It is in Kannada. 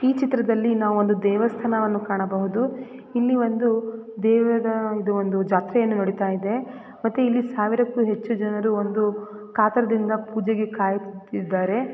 ಈ ಚಿತ್ರದಲ್ಲಿ ನಾವು ಒಂದು ದೇವಸ್ಥಾನವನ್ನು ಕಾಣಬಹುದು ಇಲ್ಲಿ ಒಂದು ದೇವದ ಒಂದು ಜಾತ್ರೆಯೂ ನಡೀತಾ ಇದೆ ಮತ್ತೆ ಇಲ್ಲಿ ಸಾವಿರಕ್ಕೂ ಹೆಚ್ಚು ಜನರು ಒಂದು ಕಾತರದಿಂದ ಪೂಜೆಗೆ ಕಾಯುತ್ತಿದ್ದಾರೆ